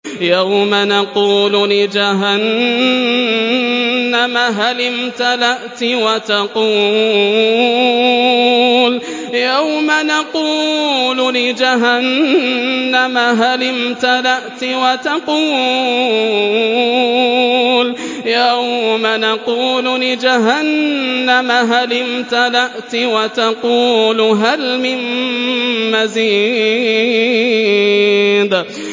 يَوْمَ نَقُولُ لِجَهَنَّمَ هَلِ امْتَلَأْتِ وَتَقُولُ هَلْ مِن مَّزِيدٍ